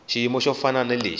xiyimo xo fana na lexi